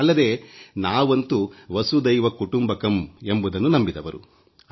ಅಲ್ಲದೆ ನಾವಂತೂ ವಸುದೈವ ಕುಟುಂಬಕಂ ಎಂಬುದನ್ನು ನಂಬಿದವರು